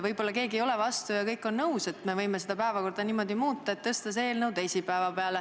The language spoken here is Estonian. Võib-olla keegi ei olegi vastu ja kõik on nõus, et me võime päevakorda muuta, tõstes selle eelnõu teisipäeva peale.